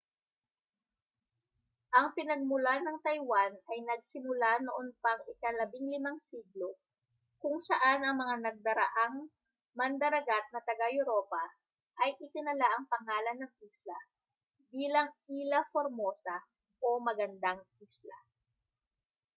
ang pinagmulan ng taiwan ay nagsimula noon pang ika-15 siglo kung saan ang mga nagdaraang mandaragat na taga-europa ay itinala ang pangalan ng isla bilang ilha formosa o magandang isla